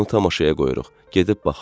Onu tamaşaya qoyuruq, gedib baxırıq.